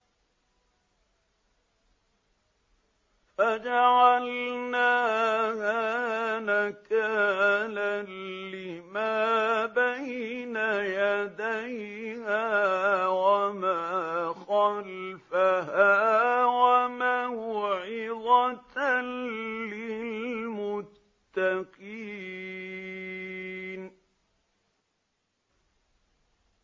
فَجَعَلْنَاهَا نَكَالًا لِّمَا بَيْنَ يَدَيْهَا وَمَا خَلْفَهَا وَمَوْعِظَةً لِّلْمُتَّقِينَ